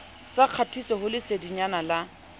sa kgatiso ho lesedinyana la